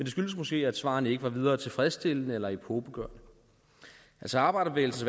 skyldes måske at svarene ikke har været videre tilfredsstillende eller epokegørende arbejderbevægelsens